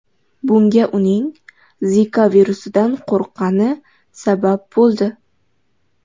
Bunga uning Zika virusidan qo‘rqqani sabab bo‘ldi.